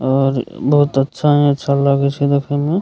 और बहुत अच्छा ही अच्छा लागे छै देखे मे।